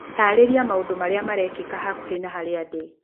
taarĩria maũndũ marĩa marekĩka hakuhĩ na harĩa ndĩ